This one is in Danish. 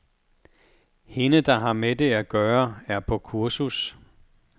Hende, der har med det at gøre, er på kursus.